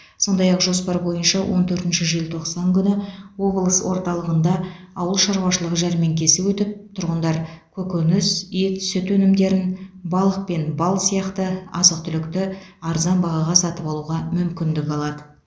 сондай ақ жоспар бойынша он төртінші желтоқсан күні облыс орталығында ауыл шаруашылығы жәрмеңкесі өтіп тұрғындар көкөніс ет сүт өнімдерін балық пен бал сияқты азық түлікті арзан бағаға сатып алуға мүмкіндік алады